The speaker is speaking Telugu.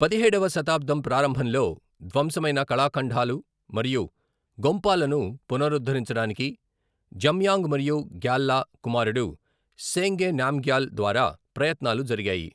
పదిహేడవ శతాబ్దం ప్రారంభంలో, ధ్వంసమైన కళాఖండాలు మరియు గోంపాలను పునరుద్ధరించడానికి జమ్యాంగ్ మరియు గ్యాల్ల కుమారుడు సెంగే నామ్గ్యాల్ ద్వారా ప్రయత్నాలు జరిగాయి.